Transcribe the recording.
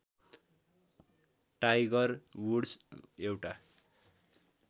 tiger Woods एउटा